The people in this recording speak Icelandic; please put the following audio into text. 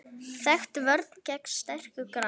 Þekkt vörn gegn sterku grandi.